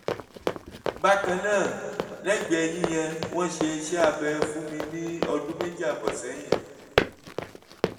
bákan náà lẹ́gbẹ̀ẹ́ eyín yẹn wọ́n ṣe iṣẹ́ abẹ fún mi ní ọdún méjì ààbọ̀ sẹ́yìn